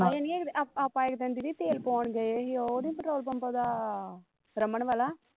ਹਏ ਨੀ ਇਕ ਦਿਨ ਆਪਾ ਆਪਾ ਇਕ ਦਿਨ ਦੀਦੀ ਤੇਲ ਪਵਾਉਣ ਗਏ ਹੀ ਉਹ ਨੀ ਪੈਟਰੋਲ ਪੰਪ ਉਹਦਾ ਰਮਨ ਵਾਲਾ